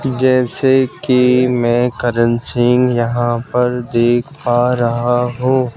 जैसे कि मैं करण सिंह यहां पर देख पा रहा हूं।